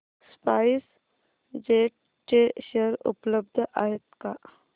spice jet चे share उपलब्ध आहेत का